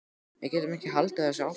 Við getum ekki haldið þessu áfram.